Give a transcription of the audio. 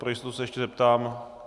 Pro jistotu se ještě zeptám.